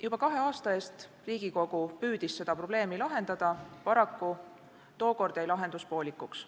Juba kahe aasta eest püüdis Riigikogu seda probleemi lahendada, paraku tookord jäi lahendus poolikuks.